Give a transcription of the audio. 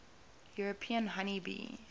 european honey bee